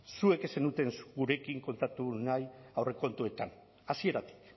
zuek ez zenuten gurekin kontaktu nahi aurrekontuetan hasieratik